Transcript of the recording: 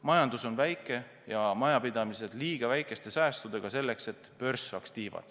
Majandus on väike ja majapidamised liiga väikeste säästudega selleks, et börs saaks tiivad.